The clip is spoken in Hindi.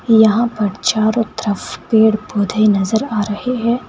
यहां पर चारों तरफ पेड़ पौधे नजर आ रहे है।